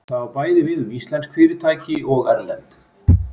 Það á bæði við um íslensk fyrirtæki og erlend.